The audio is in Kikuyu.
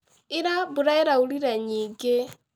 Ira mbura ĩraurire nyingĩ